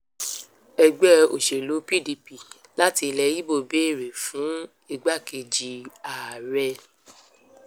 ẹgbẹ́ òṣèlú pdp láti ilẹ̀ ibo béèrè fún igbákejì ààrẹ